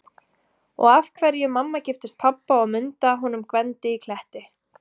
Og af hverju mamma giftist pabba og Munda honum Gvendi í Kletti.